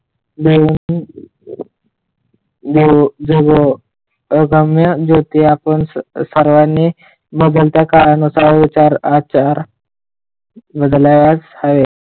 भिऊन अभंया जे की आपण आपण सर्वांनी बदलत्या काळानुसार विचार आचार आहे.